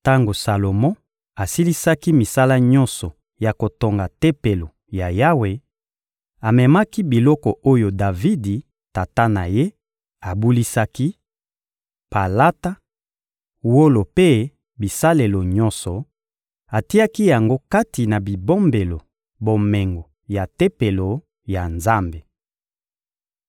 Tango Salomo asilisaki misala nyonso ya kotonga Tempelo ya Yawe, amemaki biloko oyo Davidi, tata na ye, abulisaki: palata, wolo mpe bisalelo nyonso; atiaki yango kati na bibombelo bomengo ya Tempelo ya Nzambe. (1Ba 8.1-21)